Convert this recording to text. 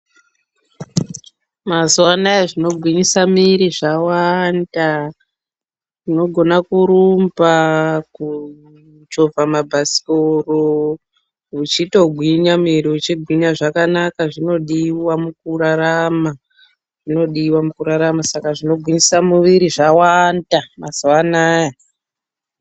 Mazuwa anaya zvinogwinyisa miri zvawanda, unogona kurumba, kuchovha mabhasikoro muchitogwinya miri uchigwinya zvakanaka zvinodiwa mukurarama zvinodiwa mukurarama saka zvinogwinyisa muviri zvawanda mazuwa anaya.